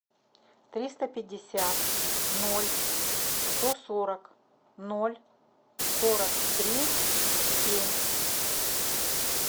триста пятьдесят ноль сто сорок ноль сорок три семь